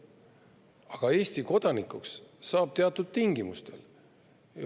Aga Eesti kodanikuks saab teatud tingimustel.